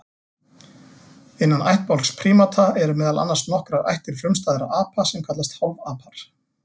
Innan ættbálks prímata eru meðal annars nokkrar ættir frumstæðra apa sem kallast hálfapar.